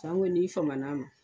Sanko n'i faman n'a ma.